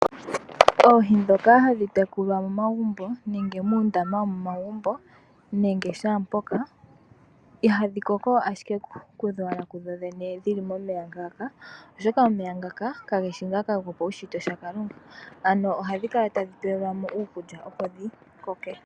Oohi ndhoka hadhi tekulwa momagumbo nenge muundama womomagumbo nenge shampoka ihadhi koko ashike kudhodhene dhili momeya ngaka oshoka omeya ngaka kageshi ngaka gopaushitwe lyakalunga ano ohadhi kala tadhi tulilwamo iikulya opo dhikoke.